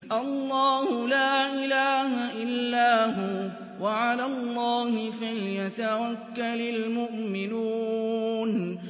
اللَّهُ لَا إِلَٰهَ إِلَّا هُوَ ۚ وَعَلَى اللَّهِ فَلْيَتَوَكَّلِ الْمُؤْمِنُونَ